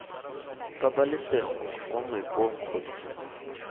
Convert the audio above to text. pabalesego kwa moepong kgotsa iii